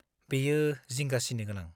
बेयो जिंगा सिनो गोनां।